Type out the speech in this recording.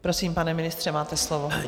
Prosím, pane ministře, máte slovo.